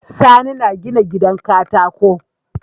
Sani na gina gidan katako